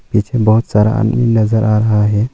इसमें बहोत सारा आदमीन नजर आ रहा है।